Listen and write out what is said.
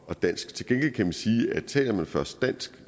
og dansk til gengæld kan man sige at taler man først dansk